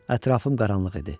Ətrafım qaranlıq idi.